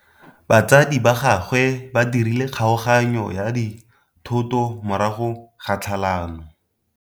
Batsadi ba gagwe ba dirile kgaoganyô ya dithoto morago ga tlhalanô.